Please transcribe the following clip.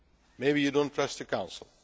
Maybe you do not trust the Council.